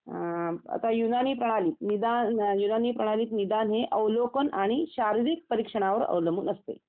आता युनानी प्रणाली निदान आणि प्रणाली निदान हे अवलोकन आणि शारीरिक प्रशिक्षणावर अवलंबून असते